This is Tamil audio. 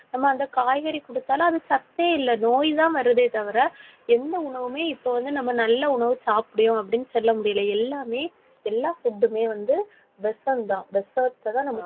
நம்ம அந்த காய்கறி குடுத்தாலும் அது சத்தே இல்லை. நோய்தான் வருதே தவிர எந்த உணவுமே இப்ப வந்து நம்ம நல்ல உணவு சாப்பிடுகிறோம் அப்படின்னு சொல்ல முடியலை. எல்லாமே, எல்லா food மே வந்து விஷம்தான் விஷத்தைத்தான் நம்ம